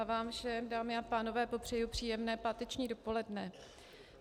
A vám všem, dámy a pánové, popřeji příjemné páteční dopoledne.